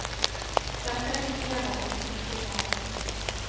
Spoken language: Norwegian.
Dette engasjerer oss og bekymrer oss.